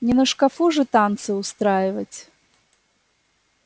не на шкафу же танцы устраивать